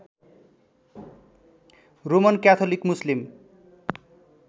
Roman Catholic Muslim